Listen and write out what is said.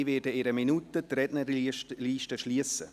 Ich werde die Rednerliste in einer Minute schliessen.